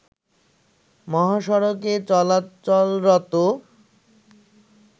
মহাসড়কে চলাচলরত